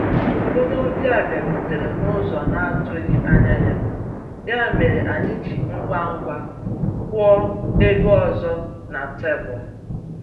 Onye ọbịa bịarutere n'ụzọ na-atụghị anya ya, ya mere anyị ji ngwa ngwa kwụọ ebe ọzọ na tebụl.